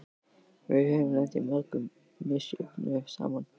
Við höfum lent í mörgu misjöfnu saman.